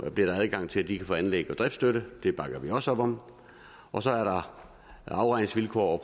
adgang til at de kan få anlægs og driftsstøtte det bakker vi også op om og så er der afregningsvilkår